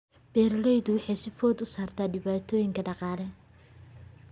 Beeralayda waxaa soo food saartay dhibaatooyin dhaqaale.